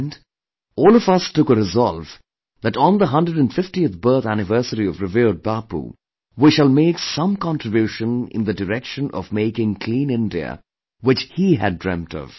And, all of us took a resolve that on the 150th birth anniversary of revered Bapu, we shall make some contribution in the direction of making Clean India which he had dreamt of